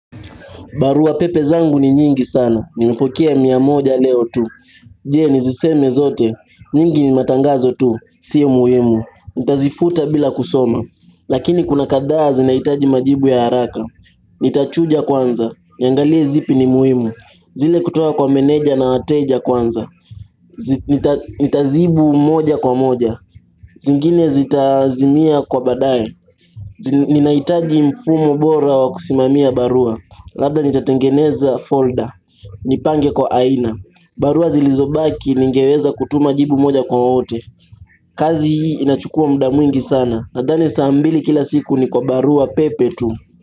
Barua pepe zangu ni nyingi sana. Nimepokea mia moja leo tu. Je niziseme zote. Nyingi ni matangazo tu. Sio muhimu. Ntazifuta bila kusoma. Lakini kuna kadhaa zinahitaji majibu ya haraka. Nitachuja kwanza. Niangalie zipi ni muhimu. Zile kutoka kwa meneja na wateja kwanza. Nitajibu moja kwa moja. Zingine zitazimia kwa baadaye. Ninahitaji mfumo bora wa kusimamia barua. Labda nitatengeneza folder Nipange kwa aina barua zilizobaki ningeweza kutuma jibu moja kwa wote kazi hii inachukua muda mwingi sana Nadhani saa mbili kila siku ni kwa barua pepe tu.